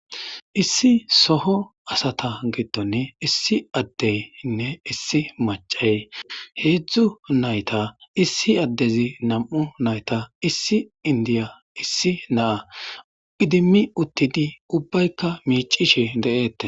issi soho asata gidone issi addeynne issi macay heedzdzu nayta issi addezi nam7u nayta issi indiya issi naa idimmi uttidi ubbaykka miicishi de7eette